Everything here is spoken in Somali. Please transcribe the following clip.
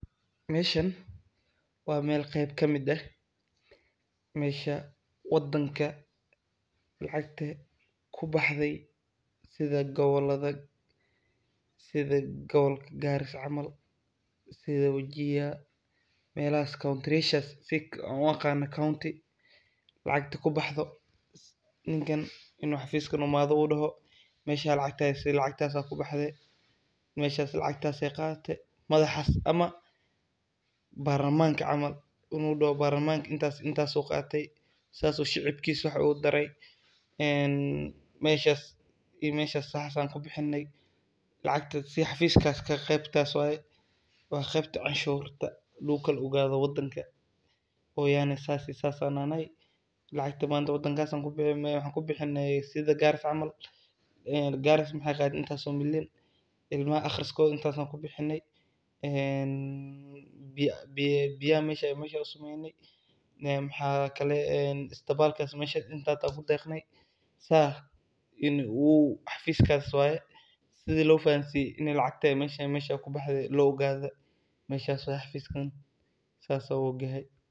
Meshan wa mel qeb kamid ahh mesha wadanka lacagta kubaxday sidha gobalka garissa camal, sidha wajir melahas countriyashas ann uqano county lacagta kubaxdo ninkan inu xafiska imano uu daho meshan lacagtasi lacagtas aa ubaxday meshas lacagtas ee qadhatay madhahas, ama barlamanka camal inu daho barlamanka intasi intas uu qatay, sas u shicibkisa wax ugu taray, meshas ii meshas waxas an kubixinay ,lacagtas xafiskas qebtas waye wa qeybta canshurta lagukala ogadho wadanka ogadha sas ii sas aa nahnay lacagta manta wadankas aa kubiixinay sidha garissa camal, garissa waxey qaday intas oo million ilmaha aqriskodha intas aa kubixinay, biyaha meshasa usameynay mxa kale en isbitalkas intas aa kudeqnay, sa u xafiskas waye sidha lofahansiyo lacagta mesha eyy kubaxday laogadho mesha waye xafiskan sasa uogahay.